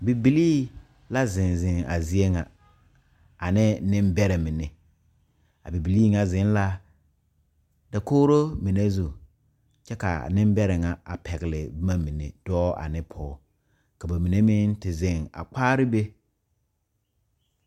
Bibilii la zeŋ zeŋ a zie ŋa ane nembɛrɛ mine a bibilii ŋa zeŋ la dakogro mine zu kyɛ k,a nembɛrɛ ŋa a pɛgle boma mine dɔɔ ane pɔge ka ba mine meŋ te zeŋ a kpaare be.